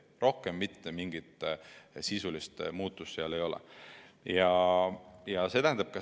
Rohkem mitte mingit sisulist muudatust sellega ei tehta.